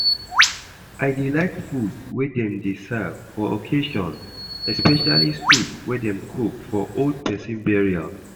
I dey like food wey dem dey serve for occassion, especially soup wey dem cook for old person burial